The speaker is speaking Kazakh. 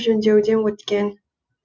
жөндеуден өткен